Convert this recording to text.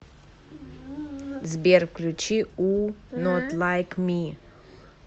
сбер включи у нот лайк ми